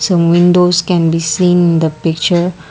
some windows can be seen the picture.